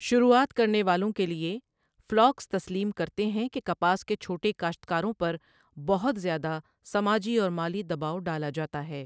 شروعات کرنے والوں کے لیے، فلاکس تسلیم کرتے ہیں کہ کپاس کے چھوٹے کاشتکاروں پر بہت زیادہ سماجی اور مالی دباؤ ڈالا جاتا ہے۔